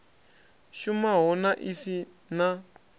shumaho na i si na